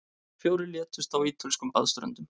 Fjórir létust á ítölskum baðströndum